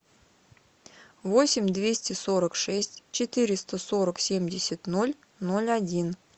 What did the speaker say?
восемь двести сорок шесть четыреста сорок семьдесят ноль ноль один